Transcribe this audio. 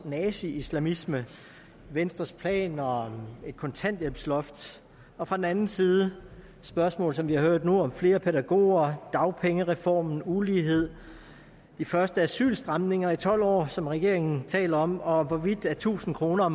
naziislamisme venstres planer om et kontanthjælpsloft og fra den anden side spørgsmål som vi har hørt nu om flere pædagoger dagpengereformen ulighed de første asylstramninger i tolv år som regeringen taler om og om hvorvidt tusind kroner